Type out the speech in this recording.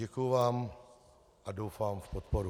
Děkuji vám a doufám v podporu.